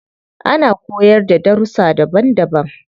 Ana koyarda da darussa daban daban.